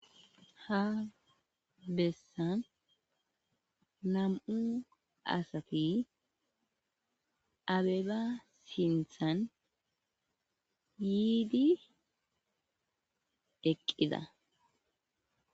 Ha besani namu asati abeba sinththan yid eqida